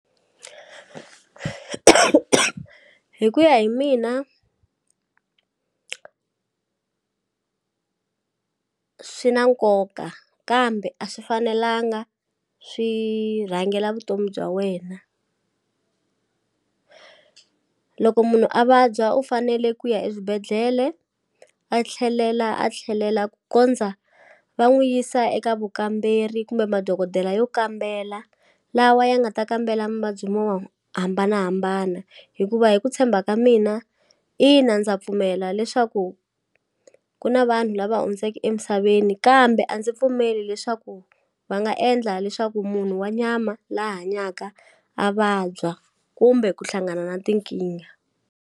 Hi ku ya hi mina swi na nkoka kambe a swi fanelanga swi rhangela vutomi bya wena loko munhu a vabya u fanele ku ya eswibedhlele a tlhelela a tlhelela ku kondza va n'wu yisa eka vukamberi kumbe madokodela yo kambela lawa ya nga ta kambela muvabyi hambanahambana hikuva hi ku tshemba ka mina ina ndza pfumela leswaku ku na vanhu lava hundzeke emisaveni kambe a ndzi pfumeli leswaku va nga endla leswaku munhu wa nyama la hanyaka a vabya kumbe ku hlangana na tinkingha.